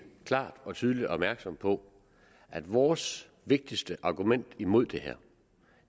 klart og tydeligt opmærksom på at vores vigtigste argument imod det her